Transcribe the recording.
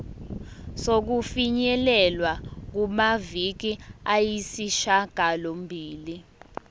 sokufinyelela kumaviki ayisishagalombili